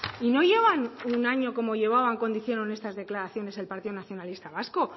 y no llevan un año como llevaban cuando hicieron esas declaraciones partido nacionalista vasco